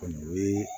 Kɔni o ye